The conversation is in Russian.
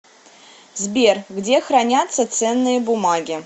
сбер где хранятся ценные бумаги